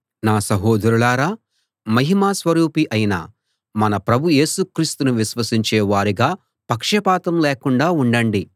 నా సహోదరులారా మహిమ స్వరూపి అయిన మన ప్రభు యేసు క్రీస్తును విశ్వసించే వారుగా పక్షపాతం లేకుండా ఉండండి